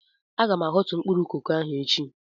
Aga m ahọtu mkpụrụ koko ahụ echi.